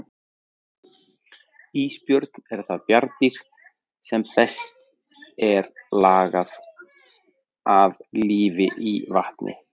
Ísbjörn er það bjarndýr sem best er lagað að lífi í vatni.